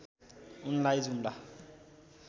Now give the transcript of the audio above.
उनलाई जुम्ला